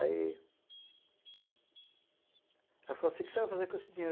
Aí... Ela falou assim, o que você vai fazer com esse dinheiro?